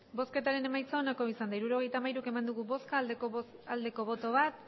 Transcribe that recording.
hirurogeita hamairu eman dugu bozka bat bai